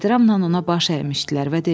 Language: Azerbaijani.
Ehtiramla ona baş əymişdilər və demişdilər: